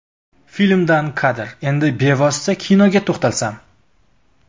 Filmdan kadr Endi bevosita kinoga to‘xtalsam.